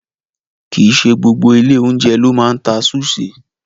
Kì í ṣe gbogbo ilé-oúnjẹ ló máa ń ta súṣì.